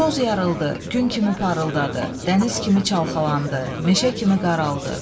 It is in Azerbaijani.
Toz yarıldı, gün kimi parıldadı, dəniz kimi çalxalandı, meşə kimi qaraldı.